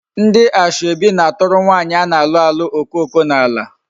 Ndi asoebi na-aturu nwaanyi a na-alu alu okoko n'ala